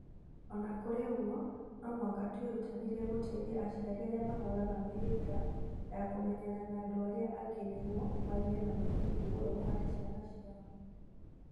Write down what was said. O na kũrĩ ũguo, no mũhaka twĩrutanĩrie gũteithia aciari arĩa mahũraga mĩhĩnga ya kũmenyana na andũ arĩa angĩ nĩguo magĩe na mũthingi mũrũmu harĩ ciana ciao.